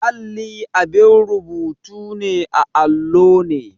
Alli abin rubutu ne a allo ne.